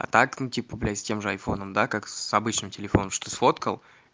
а так ну типа блядь с тем же айфоном да как с обычным телефоном что сфоткал